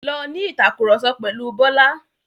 Lọ ní ìtàkurọ̀sọ pẹ̀lu Bọ́lá.